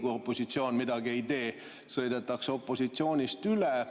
Kui opositsioon midagi ei tee, sõidetakse opositsioonist üle.